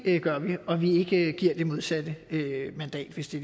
gør vi og at vi ikke giver det modsatte mandat hvis det